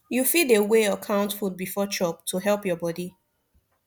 you fit dey weigh or count food before chop to help your body